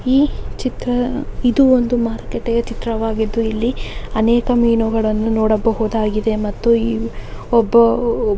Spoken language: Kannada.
ಈ ಚಿತ್ರ ಇದು ಒಂದು ಮಾರ್ಕೆಟ್ ನ ಚಿತ್ರವಾಗಿದ್ದು ಇಲ್ಲಿ ಅನೇಕ ಮೀನುಗಳನ್ನು ನೋಡಬಹುದಾಗಿದೆ ಮತ್ತು ಈ ಒಬ್ಬ ಓ--